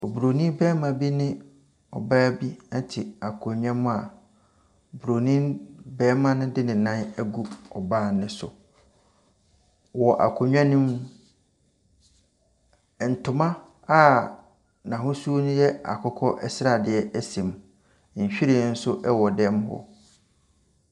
Obroni barima bi ne ɔbaa bi te akonnwa mu a, obroni barima no de ne nan agu ɔbaa no so. Wɔ akonnwa no mu, ntoma a n'ahosuo no yɛ akokɔ sradeɛ si mu. Nhwiren nso wɔ dan mu hɔ.